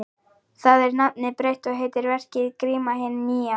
Þar er nafnið breytt og heitir verkið Gríma hin nýja.